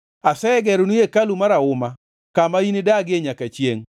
Asegeroni hekalu marahuma, kama inidagie nyaka chiengʼ.”